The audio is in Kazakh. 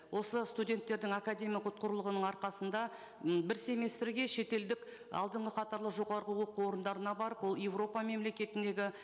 осы студенттердің академиялық ұтқырлығының арқасында м бір семестрге шетелдік алдынғы қатарлы жоғарғы оқу орындарына барып ол еуропа мемлекетіндегі